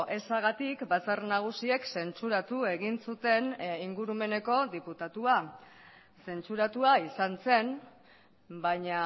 ezagatik batzar nagusiak zentzuratu egin zuten ingurumeneko diputatua zentzuratua izan zen baina